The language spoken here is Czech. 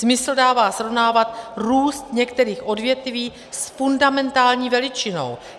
Smysl dává srovnávat růst některých odvětví s fundamentální veličinou.